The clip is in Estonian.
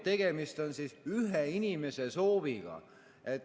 Tegemist on ühe inimese sooviga.